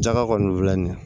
Jaka kɔni filɛ nin ye